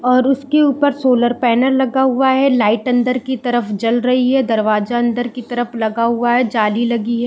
और उसके ऊपर सोलर पैनल लगा हुआ है लाइट अन्दर की तरफ जल रही हैं और दरवाज़ा अंदर की तरफ लगा हुआ हैं जाली लगी है।